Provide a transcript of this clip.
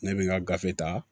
Ne bɛ n ka gafe ta